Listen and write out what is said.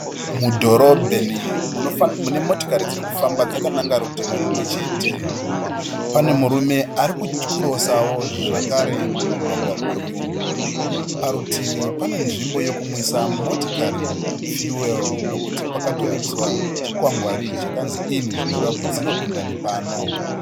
Mudhorobheni mune motokari dziri kufamba dzakananga rutivi rumwe chete. Pane murume ari kukirosawo zvakare mumugwagwa uyu. Parutivi pane nzvimbo yokumwisa motokari "fuel" nokuti pakatoiswa chikwangwari chakanzi "IN" zvinoreva kuti dzinopinda nepano.